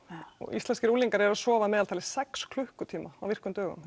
íslenskir unglingar eru að sofa að meðaltali sex klukkutíma á virkum dögum